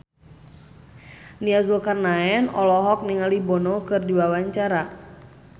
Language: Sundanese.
Nia Zulkarnaen olohok ningali Bono keur diwawancara